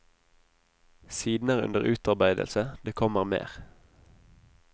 Siden er under utarbeidelse, det kommer mer.